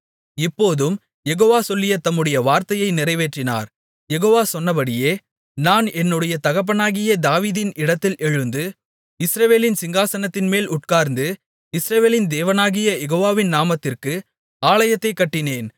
இப்போதும் யெகோவா சொல்லிய தம்முடைய வார்த்தையை நிறைவேற்றினார் யெகோவா சொன்னபடியே நான் என்னுடைய தகப்பனாகிய தாவீதின் இடத்தில் எழுந்து இஸ்ரவேலின் சிங்காசனத்தின்மேல் உட்கார்ந்து இஸ்ரவேலின் தேவனாகிய யெகோவாவின் நாமத்திற்கு ஆலயத்தைக் கட்டினேன்